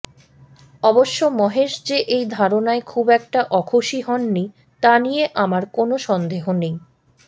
অবশ্য মহেশ যে এই ধারণায় খুব একটা অখুশি হননি তা নিয়ে আমার কোনও সন্দেহ নেই